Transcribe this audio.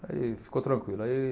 Aí ficou tranquilo. Aí